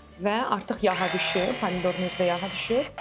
Və artıq yağa düşüb, pomidorun özü yağa düşüb.